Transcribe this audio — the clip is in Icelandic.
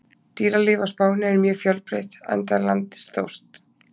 Dýralíf á Spáni er mjög fjölbreytt enda er landið stórt.